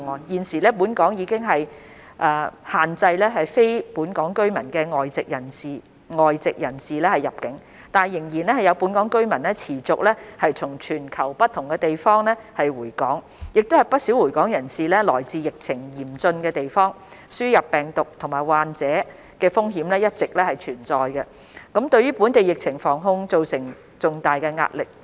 現時本港已經限制非本港居民的外籍人士入境，但仍有本港居民持續從全球不同地方回港，不少回港人士來自疫情嚴峻的地方，輸入病毒及患者的風險一直存在，對本地疫情防控造成重大壓力。